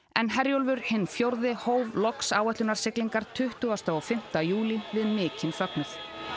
en Herjólfur hinn fjórði hóf loks áætlunarsiglingar tuttugasti og fimmti júlí við mikinn fögnuð